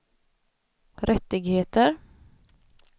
rättigheter